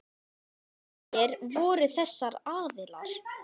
Hverjir voru þessir aðilar?